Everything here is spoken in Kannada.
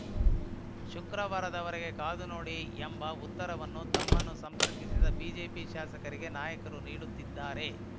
ಶುಕ್ರವಾರದವರೆಗೆ ಕಾದು ನೋಡಿ ಎಂಬ ಉತ್ತರವನ್ನು ತಮ್ಮನ್ನು ಸಂಪರ್ಕಿಸಿದ ಬಿಜೆಪಿ ಶಾಸಕರಿಗೆ ನಾಯಕರು ನೀಡುತ್ತಿದ್ದಾರೆ